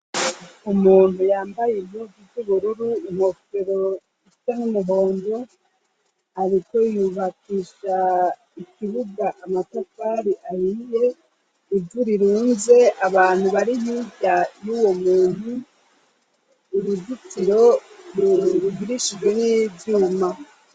Umuntu yambaye impuzu z'ubururu inkofero ifita n'umuhondo ariko yubakisha ikibuga amatakari ahiye ivurirunze abantu bari nkibya y'uwo muntu urugitiro ru rugirishijwe n'ivyuma.